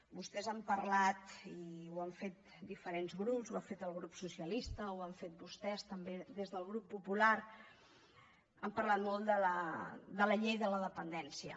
vostès han parlat i ho han fet diferents grups ho ha fet el grup socialista ho han fet vostès també des del grup popular han parlat molt de la llei de la dependència